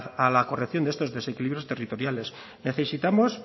a la corrección de estos desequilibrios territoriales necesitamos